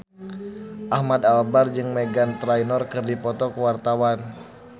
Ahmad Albar jeung Meghan Trainor keur dipoto ku wartawan